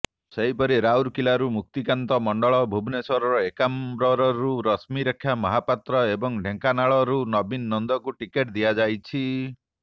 ସେହିପରି ରାଉରକେଲାରୁ ମୁକ୍ତିକାନ୍ତ ମଣ୍ଡଳ ଭୁବନେଶ୍ବରର ଏକାମ୍ରରୁ ରଶ୍ମୀରେଖା ମହାପାତ୍ର ଏବଂ ଢେଙ୍କାନାଳରୁ ନବୀନ ନନ୍ଦଙ୍କୁ ଟିକେଟ ଦିଆଯାଇଛି